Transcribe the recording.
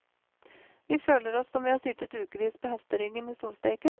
Vi føler oss som vi har sittet ukevis på hesteryggen i solsteken.